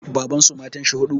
Babansu matanshi huɗu